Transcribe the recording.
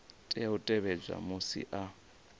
tea u tevhedza musi a